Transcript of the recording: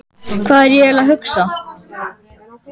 Hvað var ég eiginlega að hugsa?